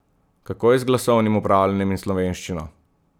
Kako je z glasovnim upravljanjem in slovenščino?